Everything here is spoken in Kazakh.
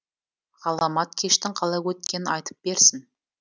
ғаламат кештің қалай өткенін айтып берсін